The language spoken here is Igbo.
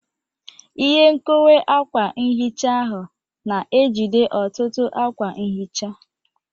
Ihe nkowe akwa nhicha ahụ na-ejide ọtụtụ akwa nhicha.